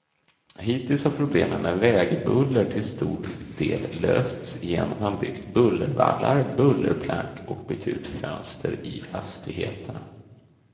Hittills har problemen med vägbuller till stor del lösts genom att man byggt bullervallar, bullerplank och bytt ut fönster i fastigheterna.